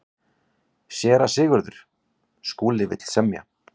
SÉRA SIGURÐUR: Skúli vill semja.